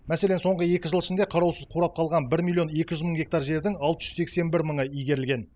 мәселен соңғы екі жыл ішінде қараусыз қурап қалған бір миллион екі жүз мың гектар жердің алты жүз сексен бір мыңы игерілген